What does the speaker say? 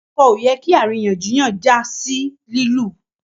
ọkọ ọ yẹ kí àríyànjiyàn já sí lilu